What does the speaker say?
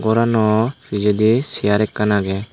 gorano pijedi sear ekkan agey.